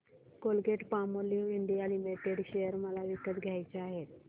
Colgate Palmolive India limited share मला विकत घ्यायचे आहेत